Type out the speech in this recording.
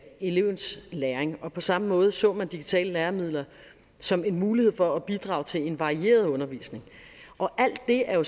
elevens læring og på samme måde så man digitale læremidler som en mulighed for at bidrage til en varieret undervisning alt det er jo